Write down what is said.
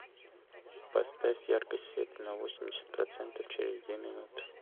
поставь яркость света на восемьдесят процентов через две минуты